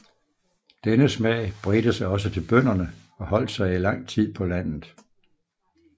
Denne smag bredte sig også til bønderne og holdt sig i lang tid på landet